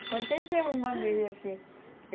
Aconteceu uma vez assim.